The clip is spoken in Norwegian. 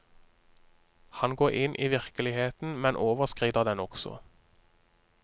Han går inn i virkeligheten, men overskrider den også.